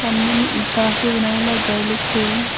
सामने में इंटा से बनाए ला घर लोग हैं।